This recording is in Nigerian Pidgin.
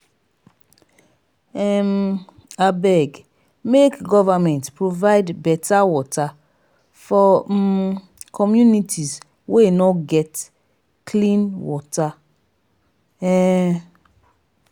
um abeg make government provide beta water for um communities wey no get .clean water um